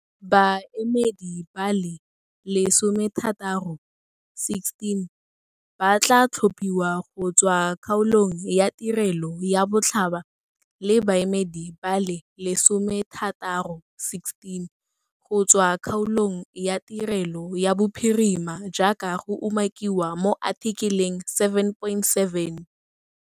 Baemedi ba le lesomethataro 16 ba tlaa tlhopiwa go tswa kgaolong ya tirelo ya botlhaba le baemedi ba le lesomethataro 16 go tswa kgaolong ya tirelo ya bophirima jaaka go umakiwa mo athikeleng 7.7.